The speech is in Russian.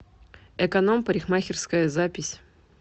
эконом парикмахерская запись